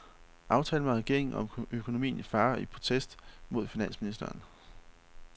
Aftale med regeringen om økonomien i fare i protest mod finansministeren.